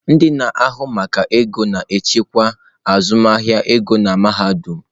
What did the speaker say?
Ndị na-ahụ maka ego na-ejikwa azụmahịa ego nke mahadum.